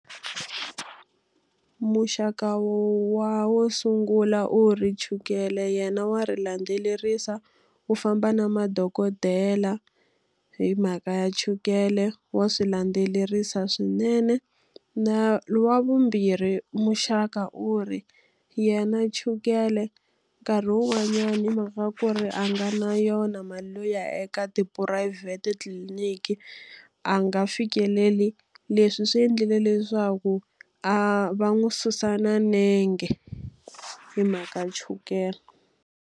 Muxaka wa wo sungula u ri chukele yena wa ri landzelerisa, u famba na madokodela hi mhaka ya chukele, wa swi landzelerisa swinene. Na wa vumbirhi muxaka u ri, ya na chukele nkarhi wun'wanyani hi mhaka ku ri a nga na yona mali yo ya eka tiphurayivhete tliliniki, a nga fikeleli. Leswi swi endlile leswaku a va n'wi susa na nenge, hi mhaka ya chukele.